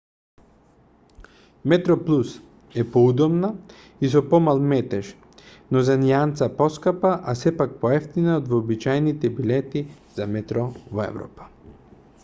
метроплус е поудобна и со помал метеж но за нијанса поскапа а сепак поевтина од вообичаените билети за метро во европа